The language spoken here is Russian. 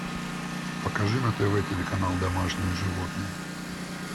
покажи на тв телеканал домашние животные